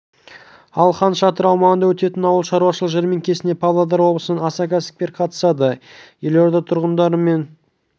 ал хан шатыр аумағында өтетін ауыл шаруашылық жәрмеңкесіне павлодар облысынан аса кәсіпкер қатысады елорда тұрғындары мен